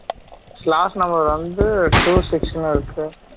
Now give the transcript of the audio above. slot number வந்து two six னு இருக்கு